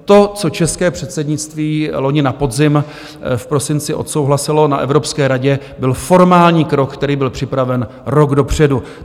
To, co české předsednictví loni na podzim v prosinci odsouhlasilo na Evropské radě, byl formální krok, který byl připraven rok dopředu.